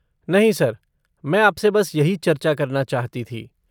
नहीं सर, मैं आपसे बस यही चर्चा करना चाहती थी।